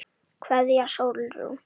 Kveðja, Sólrún.